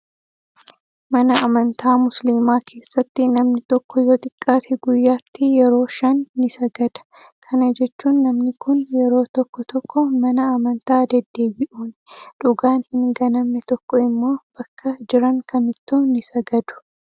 Mana amantaa musliimaa keessatti namni tokko yoo xiqqaate guyyaatti yeroo shan ni sagada. Kana jechuun namni kun yeroo tokko tokko mana amantaa deddeebi'uuni. Dhugaan hin ganamne tokko immoo bakka jiran kamittuu ni sagadu.